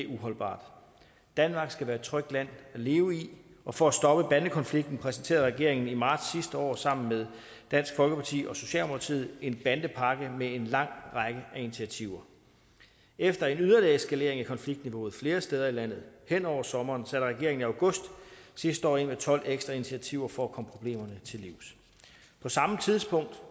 uholdbar danmark skal være et trygt land at leve i og for at stoppe bandekonflikten præsenterede regeringen i marts sidste år sammen med dansk folkeparti og socialdemokratiet en bandepakke med en lang række af initiativer efter en yderligere eskalering af konfliktniveauet flere steder i landet hen over sommeren satte regeringen i august sidste år ind med tolv ekstra initiativer for at komme problemerne til livs på samme tid